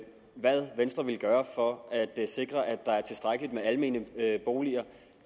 hvad venstre ville gøre for at sikre at der er tilstrækkeligt med almene boliger